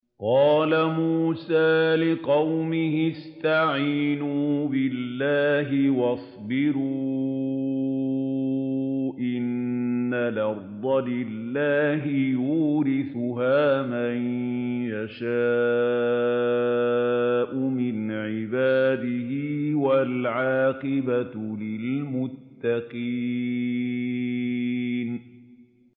قَالَ مُوسَىٰ لِقَوْمِهِ اسْتَعِينُوا بِاللَّهِ وَاصْبِرُوا ۖ إِنَّ الْأَرْضَ لِلَّهِ يُورِثُهَا مَن يَشَاءُ مِنْ عِبَادِهِ ۖ وَالْعَاقِبَةُ لِلْمُتَّقِينَ